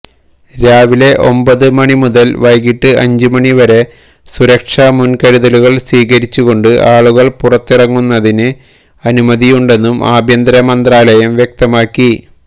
രാവിലെ ഒമ്പത് മണിമുതൽ വൈകിട്ട് അഞ്ച് മണിവരെ സുരക്ഷാ മുൻകരുതലുകൾ സ്വീകരിച്ചുകൊണ്ട് ആളുകൾക്ക് പുറത്തിറങ്ങുന്നതിന് അനുമതിയുണ്ടന്നും ആഭ്യന്തര മന്ത്രാലയം വ്യക്തമാക്കി